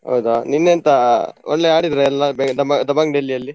ಹೌದಾ, ನಿನ್ನೆ ಎಂತ ಒಳ್ಳೆ ಆಡಿದ್ರಾ ಎಲ್ಲಾ Dabang Delhi ಯಲ್ಲಿ.